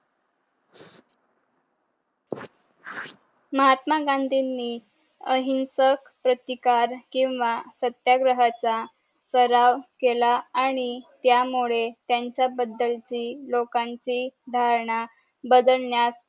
महात्मा गांधी नि अहिंसक प्रतिकार किंवा सत्याग्रहचा सराव केला आणि त्या मुळे त्याचा बदलची लोकांची धारणा बदलण्यास